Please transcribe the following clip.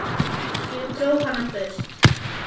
Ég dró hana burt.